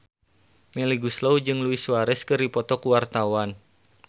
Melly Goeslaw jeung Luis Suarez keur dipoto ku wartawan